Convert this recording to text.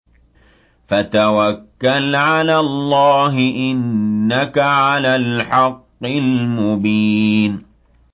فَتَوَكَّلْ عَلَى اللَّهِ ۖ إِنَّكَ عَلَى الْحَقِّ الْمُبِينِ